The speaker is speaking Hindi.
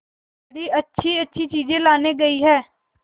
बड़ी अच्छीअच्छी चीजें लाने गई है